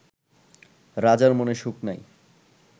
রাজার মনে সুখ নাই